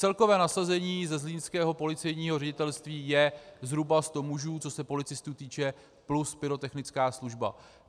Celkové nasazení ze zlínského policejního ředitelství je zhruba sto mužů, co se policistů týče, plus pyrotechnická služba.